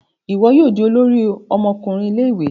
Iwọ yoo di olórí ọmọkùnrin Ilé-ìwé